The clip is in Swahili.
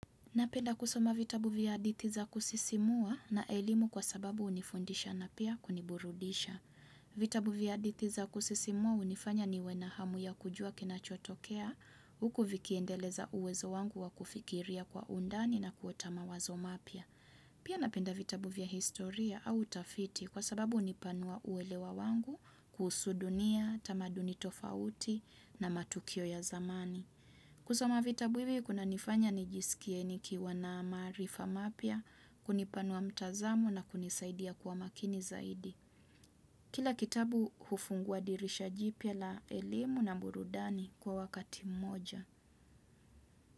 Napenda kusoma vitabu vya hadithi za kusisimua na elimu kwa sababu hunifundisha na pia kuniburudisha. Vitabu vya hadithi za kusisimua hunifanya niwe na hamu ya kujua kinachotokea huku vikiendeleza uwezo wangu wa kufikiria kwa undani na kuota mawazo mapya. Pia napenda vitabu vya historia au utafiti kwa sababu hunipanua uelewa wangu kuhusu dunia, tamaduni tofauti na matukio ya zamani. Kusoma vita hivi kunanifanya nijisikie nikiwa na maarifa mapya, kunipanua mtazamo na kunisaidia kuwa makini zaidi. Kila kitabu hufunguwa dirisha jipya la elimu na burudani kwa wakati mmoja.